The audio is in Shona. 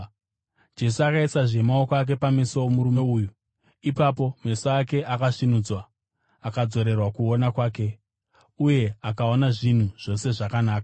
Jesu akaisazve maoko ake pameso omurume uyu. Ipapo meso ake akasvinudzwa, akadzorerwa kuona kwake, uye akaona zvinhu zvose zvakanaka.